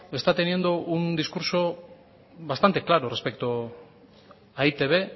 está teniendo un discurso bastante claro respecto a e i te be